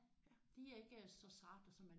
Kan man det?